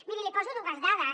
miri li poso dues dades